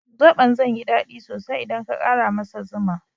Zoɓon zai yi dadi sosai idan ka ƙara masa zuma.